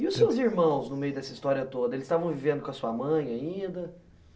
E os seus irmãos, no meio dessa história toda, eles estavam vivendo com a sua mãe ainda?